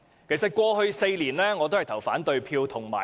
我在過去4年均有發言及投反對票。